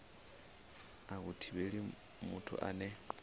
a hu thivheli muthu ane